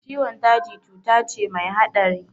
Ciwon daji cuta ce mai haɗari